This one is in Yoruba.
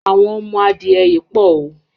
Àwọn ọmọ adìẹ yìí pọ̀ o.